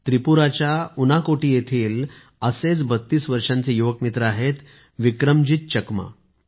त्रिपुराच्या उनाकोटी येथील असेच 32 वर्षांचे युवक मित्र आहेत विक्रमजीत चकमा